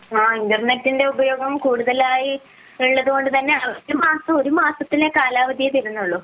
ആഹ് ഇന്റർനെറ്റിന്റെ ഉപയോഗം കൂടുതൽ ആയി ഉള്ളത് കൊണ്ട് തന്നെയാണ് ഒരുമാസത്തിലെ കാലാവധിയെ തീരുന്നുള്ളൂ